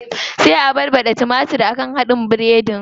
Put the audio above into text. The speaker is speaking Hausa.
Sai a yayyaɗa hadin timatir a kan biredin.